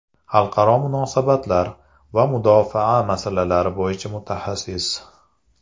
Xalqaro munosabatlar va mudofaa masalalari bo‘yicha mutaxassis.